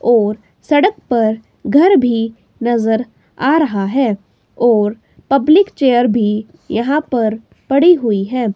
और सड़क पर घर भी नजर आ रहा है और पब्लिक चेयर भी यहां पर पड़ी हुई है।